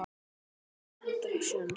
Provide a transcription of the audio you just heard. Ég átti aldrei séns.